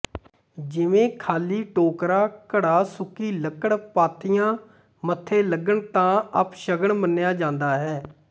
ਜਿਵੇਂ ਖਾਲੀ ਟੋਕਰਾ ਘੜਾ ਸੁੱਕੀ ਲੱਕੜ ਪਾਥੀਆਂ ਮੱਥੇ ਲੱਗਣ ਤਾਂ ਅਪਸ਼ਗਨ ਮੰਨਿਆ ਜਾਂਦਾ ਹੈ